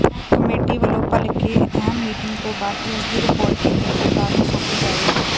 committee ਵੱਲੋਂ ਭਲਕੇ ਅਹਿਮ ਮੀਟਿੰਗ ਤੋਂ ਬਾਅਦ ਇਸ ਦੀ ਰਿਪੋਰਟ ਕੇਂਦਰ ਸਰਕਾਰ ਨੂੰ ਸੌਂਪੀ ਜਾਏਗੀ